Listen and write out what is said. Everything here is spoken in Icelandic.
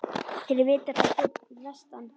Þeir vita það fyrir vestan